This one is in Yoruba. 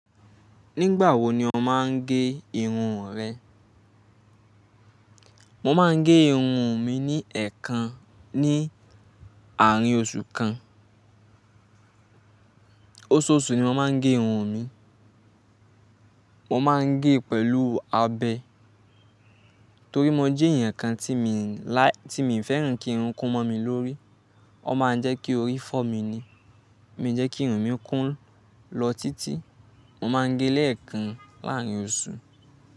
Nígbà wo ni o máa ń gé irun rẹ? Mo máa ń gé irun mi ní ẹ̀ẹ̀kan ní àárín oṣù kan. Oṣooṣù ni mo máa ń gé irun mi. Mo máa ń gé pẹ̀lú abẹ, torí mo jẹ èèyàn kan tí mi làì tí mi ò fẹ́ràn kí irun kún mọ́ mi lórí. Ó máa ń jẹ́ kí orí fọ́ mi ni. Mi ò jẹ́ kí irun mi kún lọ títí. Mo máa ń gé lẹ́ẹ̀kan láàárín oṣù.